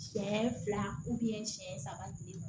Siɲɛ fila siyɛn saba tile